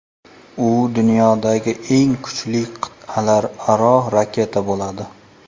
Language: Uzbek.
U dunyodagi eng kuchli qit’alararo raketa bo‘ladi.